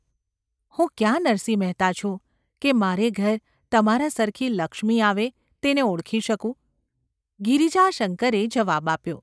હું ક્યાં નરસિંહ મહેતા છું કે મારે ઘેર તમારા સરખી લક્ષ્મી આવે તેને ઓળખી શકું ?’ ગિરિજાશંકરે જવાબ આપ્યો.